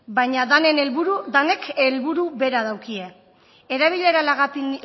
baina danek helburu bera daukie erabilera